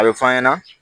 A bɛ f'an ɲɛna